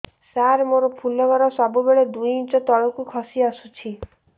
ସାର ମୋର ଫୁଲ ଘର ସବୁ ବେଳେ ଦୁଇ ଇଞ୍ଚ ତଳକୁ ଖସି ଆସିଛି